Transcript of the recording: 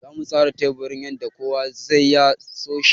Zamu tsara teburin yanda kowa sai ya so shi.